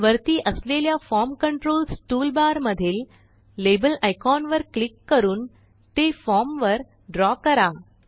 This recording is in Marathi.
वरती असलेल्या फॉर्म कंट्रोल्स टूलबार मधील लाबेल आयकॉन वर क्लिक करून ते फॉर्म वर द्रव करा